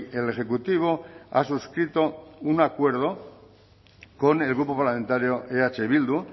el ejecutivo ha suscrito un acuerdo con el grupo parlamentario eh bildu